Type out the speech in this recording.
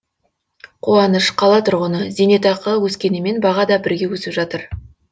қуаныш қала тұрғыны зейнетақы өскенімен баға да бірге өсіп жатыр